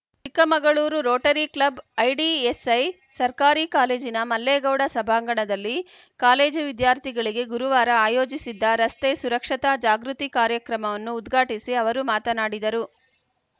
Chikkamagaluru Rotary club IDSI ಸರ್ಕಾರಿ ಕಾಲೇಜಿನ ಮಲ್ಲೇಗೌಡ ಸಭಾಂಗಣದಲ್ಲಿ ಕಾಲೇಜು ವಿದ್ಯಾರ್ಥಿಗಳಿಗೆ ಗುರುವಾರ ಆಯೋಜಿಸಿದ್ದ ರಸ್ತೆ ಸುರಕ್ಷತಾ ಜಾಗೃತಿ ಕಾರ್ಯಕ್ರಮವನ್ನು ಉದ್ಘಾಟಿಸಿ ಅವರು ಮಾತನಾಡಿದರು